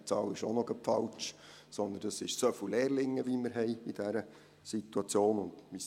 Diese Zahl ist auch noch falsch, sondern es jene der Anzahl Lehrlinge, die wir in dieser Situation haben.